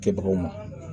Kɛbagaw ma